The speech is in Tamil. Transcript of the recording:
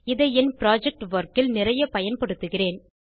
இதை என் புரொஜெக்ட் வொர்க் இல் நிறைய பயன்படுத்துகிறேன்